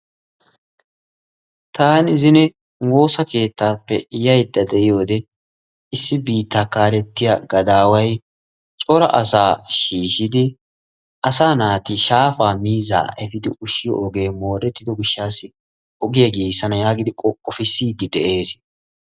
Taani zine woosa keettaappe yaydda de'iyode issi biittaa kaalettiya gadaaway cora asaa shiishshidi asaa naati shaafaa miizzaa efiidi ushshiyo ogee moorettido gishshaassi ogiya giigissanaassi yaagidi qoqqofissiiddi de'ees.